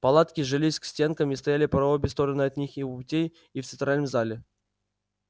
палатки жались к стенкам и стояли по обе стороны от них и у путей и в центральном зале